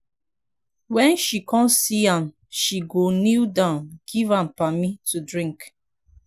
wen she con see am she go knee down giv am pammy to drink